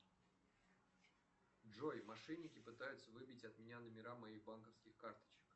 джой мошенники пытаются выбить от меня номера моих банковских карточек